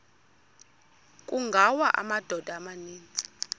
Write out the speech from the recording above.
kungawa amadoda amaninzi